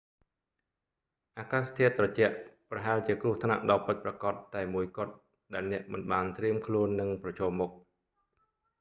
អាកាសធាតុត្រជាក់ ប្រហែលជាគ្រោះថ្នាក់ដ៏ពិតប្រាកដតែមួយគត់ ដែលអ្នកមិនបានត្រៀមខ្លួននឹងប្រឈមមុខ